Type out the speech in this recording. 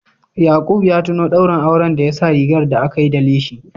Yaqub ya tuno daurin auren da ya sa rigar da aka yi da leshi